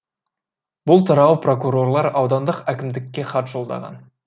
бұл туралы прокурорлар аудандық әкімдікке хат жолдаған